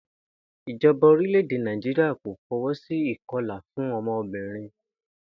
Ìjo̩ba orílè̩-èdè Nàìjíríà kò fo̩wó̩ sí ìko̩là fún o̩mo̩bìnrin